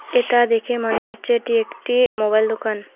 এটা দেখে মনে হচ্ছে এটি একটি মোবাইল দোকান।